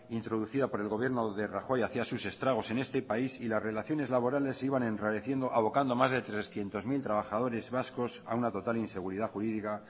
introducida por el gobierno de rajoy hacía sus estragos en este país y las relaciones laborales se iban enrareciendo abocando más de trescientos mil trabajadores vascos a una total inseguridad jurídica